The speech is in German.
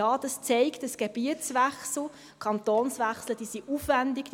Und: Ja, dies zeigt, dass Gebietswechsel, Kantonswechsel aufwendig sind.